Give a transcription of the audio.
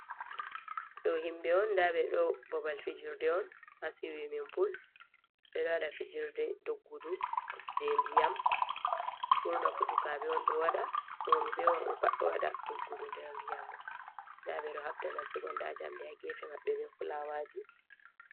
Ɗo himɓe on nda ɓe ɗo babal fijirde on ha siwi min pul, ɓe ɗo waɗa fijirde doggudu je diyam, burna fu sukaɓe on ɗo waɗa, rooɓe be worɓe pat ɗo waɗa doggudu der dinyam ɗo, nda ɓe ɗo habda nastugo nda jamɗe ha gefe maɓɓe be fulawaji.